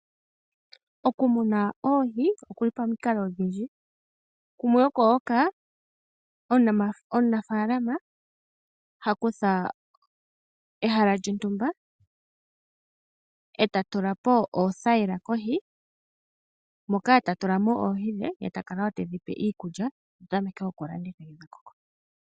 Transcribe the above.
Okumuna oohi okuli pamukalo odhindji kumwe oko hoka omunafaalama hakutha ehala lyontumba etatulapo oothayila kohi moka tatulamo oohi dhe etakala tedhi pe iikulya